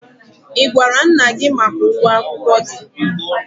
Ị gwara nna gị maka ụgwọ akwụkwọ gị?